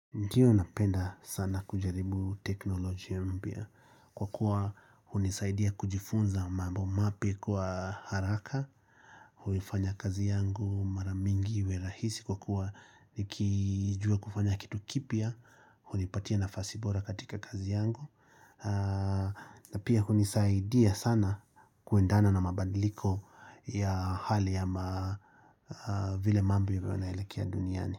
Ndiyo napenda sana kujaribu teknolojia mpya kwa kuwa hunisaidia kujifunza mambo mapya kwa haraka, huifanya kazi yangu mara mingi iwe rahisi kwa kuwa nikijua kufanya kitu kipya, hunipatia nafasi bora katika kazi yangu. Na pia hunisaidia sana kuendana na mabadiliko ya hali ama vile mambo yanaelekea duniani.